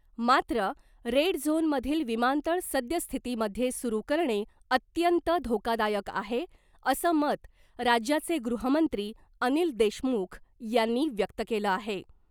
मात्र रेड झोनमधील विमानतळ सद्यस्थितीमध्ये सुरू करणे अत्यंत धोकादायक आहे असं मत राज्याचे गृहमंत्री अनिल देशमुख यांनी व्यक्त केलं आहे .